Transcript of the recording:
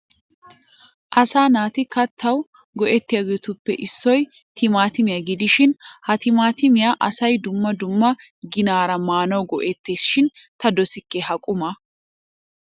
Asaa naati kattawu go'ettiyobatuppe issoy timaatimiya gidishin ha timaatimiya asay dumma dumma ginaara maanawu go'ettees shin ta dosikke ha qumaa.